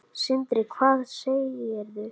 Sindri: Hvað segirðu?